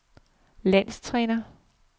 landstræner